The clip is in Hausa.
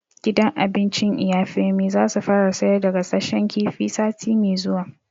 Gidan abincin Iya Femi za su fara sayar da gasashen kifi sati mai zuwa